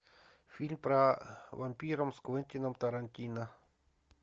фильм про вампиров с квентином тарантино